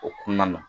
O kɔnɔna na